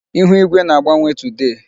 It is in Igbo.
Ịhụ igwe na-agbanwe today.